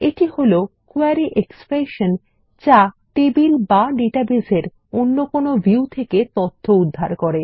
এটা হল query expression যা টেবিল বা ডেটাবেস এর অন্য কোনো ভিউ থেকে তথ্য উদ্ধার করে